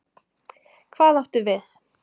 Hvað áttu við?